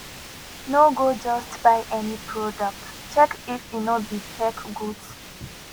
no go just buy any product check if e no be fake goods